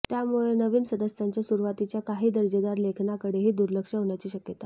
त्यामुळे नवीन सदस्यांच्या सुरूवातीच्या काही दर्जेदार लेखनाकडेही दुर्लक्ष होण्याची शक्यता असते